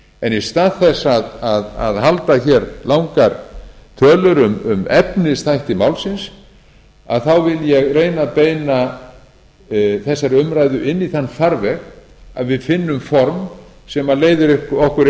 en í stað þess að halda hér langar tölur um efnisþætti málsins þá vil ég reyna að beina þessari umræðu inn í þann farveg að við finnum form sem leiðir okkur